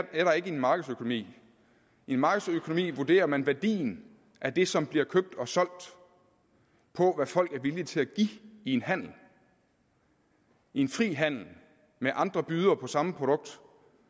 i en markedsøkonomi i en markedsøkonomi vurderer man værdien af det som bliver købt og solgt på hvad folk er villige til at give i en handel i en fri handel med andre bydere på samme produkt